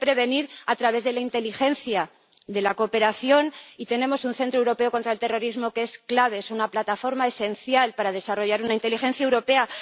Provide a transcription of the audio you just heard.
Hay que prevenir a través de la inteligencia, de la cooperación, y tenemos un Centro Europeo de Lucha contra el Terrorismo que es clave, es una plataforma esencial para desarrollar una inteligencia europea.